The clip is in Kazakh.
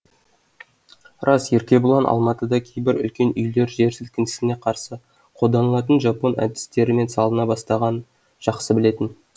рас еркебұлан алматыда кейбір үлкен үйлер жер сілкінісіне қарсы қолданылатын жапон әдістерімен салына бастағанын жақсы білетін